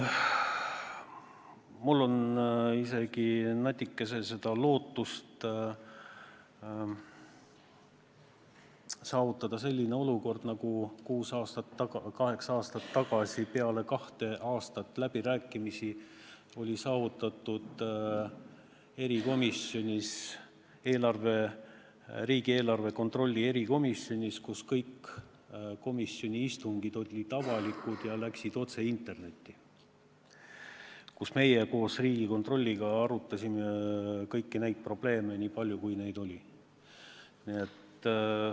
Mul on isegi natuke lootust saavutada selline olukord, nagu me kaheksa aastat tagasi peale kahte aastat läbirääkimisi saavutasime riigieelarve kontrolli erikomisjonis: komisjoni istungid olid avalikud ja läksid otse internetti, kui meie koos Riigikontrolliga arutasime kõiki neid probleeme, nii palju kui neid oli.